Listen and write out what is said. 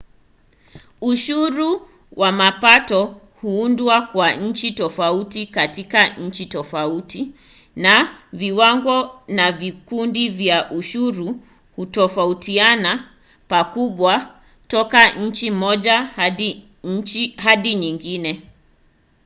ushuru wa mapato huundwa kwa njia tofauti katika nchi tofauti na viwango na vikundi vya ushuru hutofautiana pakubwa toka nchi moja hadi nyingine